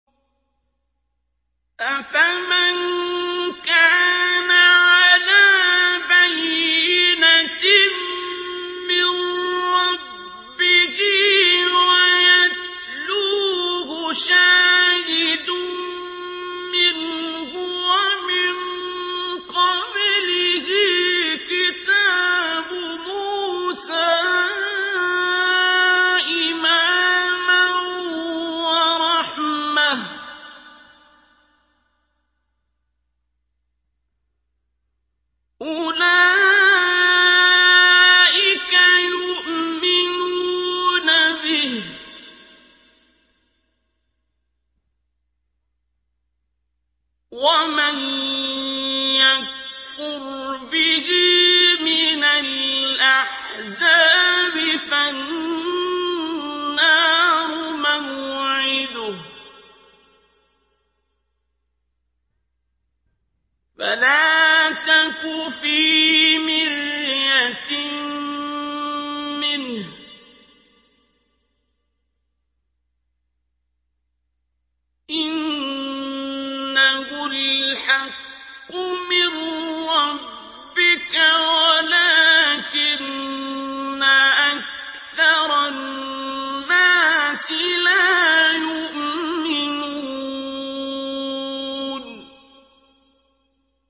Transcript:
أَفَمَن كَانَ عَلَىٰ بَيِّنَةٍ مِّن رَّبِّهِ وَيَتْلُوهُ شَاهِدٌ مِّنْهُ وَمِن قَبْلِهِ كِتَابُ مُوسَىٰ إِمَامًا وَرَحْمَةً ۚ أُولَٰئِكَ يُؤْمِنُونَ بِهِ ۚ وَمَن يَكْفُرْ بِهِ مِنَ الْأَحْزَابِ فَالنَّارُ مَوْعِدُهُ ۚ فَلَا تَكُ فِي مِرْيَةٍ مِّنْهُ ۚ إِنَّهُ الْحَقُّ مِن رَّبِّكَ وَلَٰكِنَّ أَكْثَرَ النَّاسِ لَا يُؤْمِنُونَ